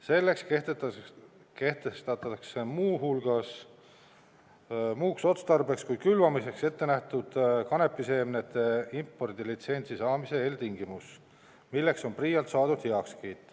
Selleks kehtestatakse muuks otstarbeks kui külvamiseks ette nähtud kanepiseemnete impordilitsentsi saamise eeltingimus, milleks on PRIA-lt saadud heakskiit.